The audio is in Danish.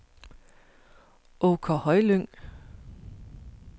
Åker Højlyng